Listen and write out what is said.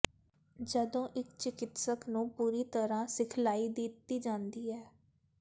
ਜਦੋਂ ਇੱਕ ਚਿਕਿਤਸਕ ਨੂੰ ਪੂਰੀ ਤਰਾਂ ਸਿਖਲਾਈ ਦਿੱਤੀ ਜਾਂਦੀ ਹੈ